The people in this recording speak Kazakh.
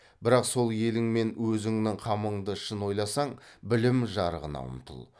бірақ сол елің мен өзіңнің қамыңды шын ойласаң білім жарығына ұмтыл